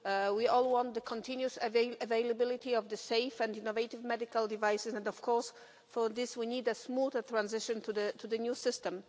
We all want the continuous availability of safe and innovative medical devices and, of course, for this we need a smooth transition to the new system.